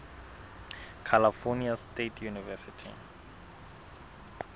california state university